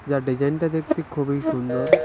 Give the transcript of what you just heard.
আর ডিজাইনটা দেখতে খুবই সুন্দর।